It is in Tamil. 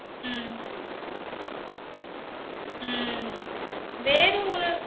உம் உம் உம் வேற ஒரு